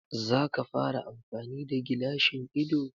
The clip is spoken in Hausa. Zaka fara amfani da gilashin ido